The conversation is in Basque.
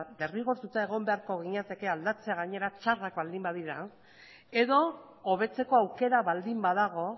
derrigortuta egon beharko ginateke aldatzea gainera txarrak baldin badira edo hobetzeko aukera baldin badago